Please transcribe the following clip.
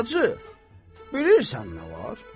Bacı, bilirsən nə var?